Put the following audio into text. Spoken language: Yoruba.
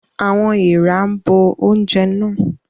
Àwọn èèrà bo oúnjẹ náà.